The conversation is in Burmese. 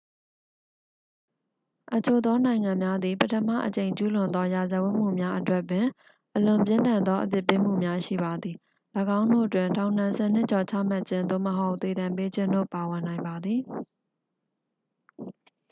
အချို့သောနိုင်ငံများသည် ပထမအကြိမ်ကျူးလွန်သောရာဇဝတ်မှုများအတွက်ပင် အလွန်ပြင်းထန်သောအပြစ်ပေးမှုများ ရှိပါသည် ၎င်းတို့တွင် ထောင်ဒဏ် 10 နှစ်ကျော်ချမှတ်ခြင်း သို့မဟုတ် သေဒဏ်ပေးခြင်းတို့ ပါဝင်နိုင်ပါသည်